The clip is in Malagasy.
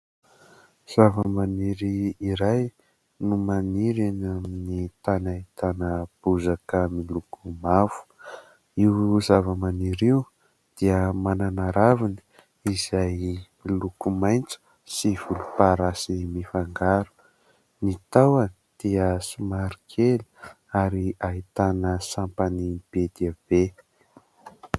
Zava-maniry iray no maniry amin'ny tany ahitana bozaka miloko mavo. Io zava-maniry io dia manana raviny izay loko maintso sy volomparasy mifangaro ; ny tahony dia somary kely ary ahitana sampany be dia be.